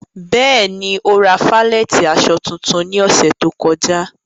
Bẹ́ẹ̀ni, o ra falẹ̀tí aṣọ tuntun ní òṣè tó kọ̀já.